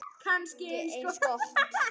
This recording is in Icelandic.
Kannski eins gott.